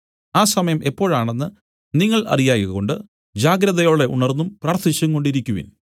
ആ സമയം എപ്പോഴാണെന്ന് നിങ്ങൾ അറിയായ്കകൊണ്ട് ജാഗ്രതയോടെ ഉണർന്നും പ്രാർത്ഥിച്ചുംകൊണ്ടിരിക്കുവിൻ